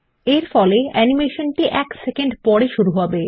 এরফলে অ্যানিমেশনটি ১ সেকেন্ড পরে শুরু হবে